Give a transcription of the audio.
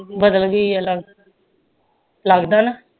ਬਦਲ ਗਈ ਆ ਲਗਦਾ ਲਗਦੇ ਨਾ